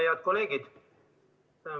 Head kolleegid.